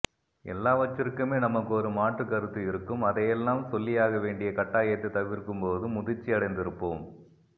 எல்லாவற்றிற்குமே நமக்கொரு மாற்றுக்கருத்து இருக்கும் அதையெல்லாம் சொல்லியாகவேண்டிய கட்டாயத்தை தவிர்க்கும்போது முதிர்ச்சியடைந்திருப்போம்